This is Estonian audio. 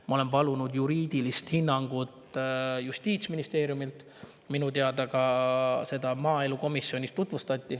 Ma olen palunud juriidilist hinnangut Justiitsministeeriumilt, minu teada seda tutvustati ka maaelukomisjonis.